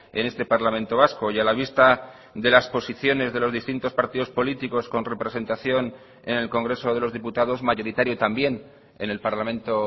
en este parlamento vasco y a la vista de las posiciones de los distintos partidos políticos con representación en el congreso de los diputados mayoritario también en el parlamento